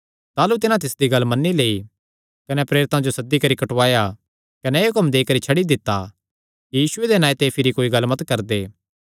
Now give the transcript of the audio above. ताह़लू तिन्हां तिसदी गल्ल मन्नी लेई कने प्रेरितां जो सद्दी करी कुटवाया कने एह़ हुक्म देई करी छड्डी दित्ता कि यीशुये दे नांऐ दी भिरी कोई गल्ल मत करदे